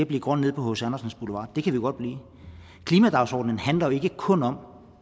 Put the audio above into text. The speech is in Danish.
blive grøn nede på hc andersens boulevard det kan vi godt blive klimadagsordenen handler jo ikke kun om